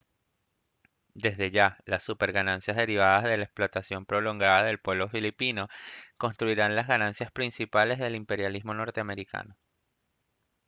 desde ya las super ganancias derivadas de la explotación prolongada del pueblo filipino constituirían las ganancias principales del imperialismo norteamericano